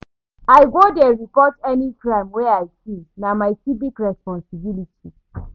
I go dey report any crime wey I see, na my civic responsibility.